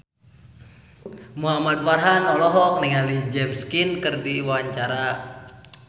Muhamad Farhan olohok ningali James Caan keur diwawancara